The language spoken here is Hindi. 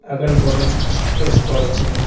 अगल-बगल पेड़-पौधे हैं।